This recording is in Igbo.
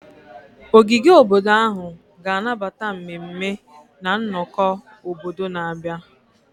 Ogige obodo ahụ ga-anabata mmemme na nnọkọ obodo na-abịa.